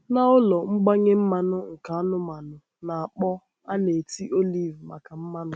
Na ụlọ mgbanye mmanụ nke anụmanụ na-akpọ, a na-eti oliv maka mmanụ.